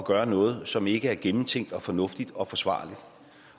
gøre noget som ikke er gennemtænkt og fornuftigt og forsvarligt